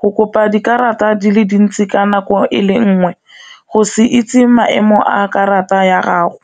go kopa dikarata di le dintsi ka nako e le nngwe go se itse maemo a karata ya gago.